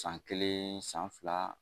San kelen, san fila